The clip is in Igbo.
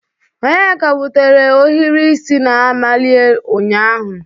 Onyeka wutere ohiri isi na-amali ụnyahụ